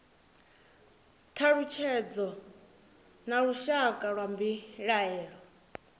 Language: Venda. thalutshedzo na lushaka lwa mbilaelo